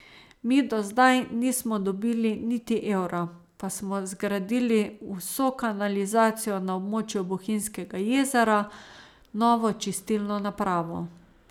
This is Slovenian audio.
Mi do zdaj nismo dobili niti evra, pa smo zgradili vso kanalizacijo na območju Bohinjskega jezera, novo čistilno napravo.